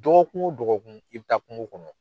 Dɔgɔkun o dɔgɔkun i bɛ taa kungo kɔnɔ.